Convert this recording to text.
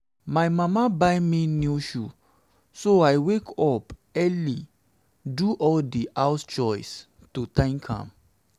my mama buy me new shoe so i wake up very early do all the house chores to thank am